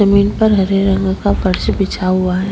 जमीन पर हरे रंग का फर्स बिछा हुआ है।